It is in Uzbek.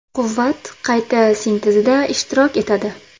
Quvvat qayta sintezida ishtirok etadi.